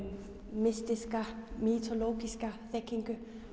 mystíska mýtólógíska þekking